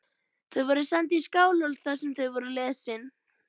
Þau voru send í Skálholt þar sem þau voru lesin.